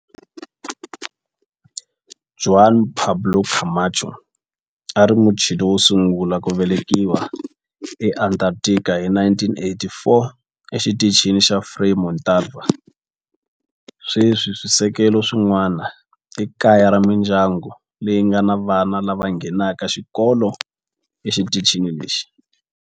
Juan Pablo Camacho a a ri Muchile wo sungula ku velekiwa eAntarctica hi 1984 eXitichini xa Frei Montalva. Sweswi swisekelo swin'wana i kaya ra mindyangu leyi nga ni vana lava nghenaka xikolo exitichini lexi.